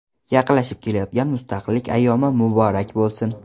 Yaqinlashib kelayotgan Mustaqillik ayyomi muborak bo‘lsin!